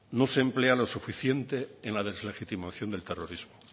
no se emplea lo suficiente en la deslegitimación del terrorismo